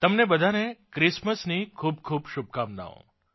તમને બધાને ક્રિસમસની ખૂબખૂબ શુભકામનાઓ